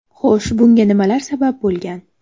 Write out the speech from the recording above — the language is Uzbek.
Xo‘sh, bunga nimalar sabab bo‘lgan?